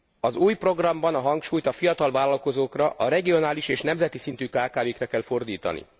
Az új programban a hangsúlyt a fiatal vállalkozókra, a regionális és nemzeti szintű kkv kra kell fordítani.